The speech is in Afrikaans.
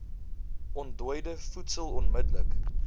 ontdooide voedsel onmidddelik